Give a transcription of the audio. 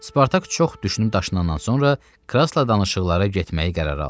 Spartak çox düşünüb daşınandan sonra Krassla danışıqlara getməyi qərara aldı.